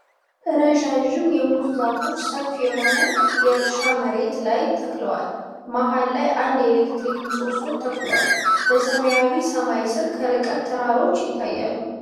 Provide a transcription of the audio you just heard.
ረዣዥም የሙዝ ዛፎች ሰፊ የሆነ የእርሻ መሬት ላይ ተክለዋል። መሃል ላይ አንድ የኤሌክትሪክ ምሰሶ ተተክሏል፤ በሰማያዊ ሰማይ ስር ከርቀት ተራሮች ይታያሉ።